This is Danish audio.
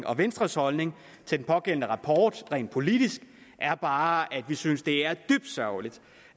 og venstres holdning til den pågældende rapport rent politisk er bare at vi synes det er dybt sørgeligt